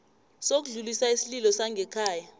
sokudlulisa isililo sangekhaya